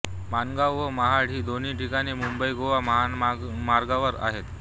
माणगाव व महाड ही दोन्ही ठिकाणे मुंबईगोवा महामार्गावर आहेत